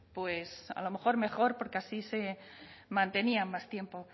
pues a lo mejor mejor porque así se mantenían más tiempo